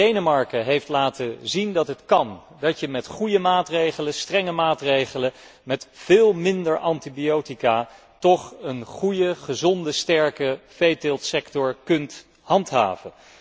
Een land als Denemarken heeft laten zien dat het kan, dat je met goede, strenge maatregelen met veel minder antibiotica toch een gezonde en sterke veeteeltsector kunt handhaven.